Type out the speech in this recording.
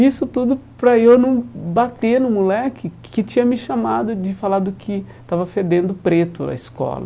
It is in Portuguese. Isso tudo para eu não bater no moleque que tinha me chamado de falado que estava fedendo preto a escola.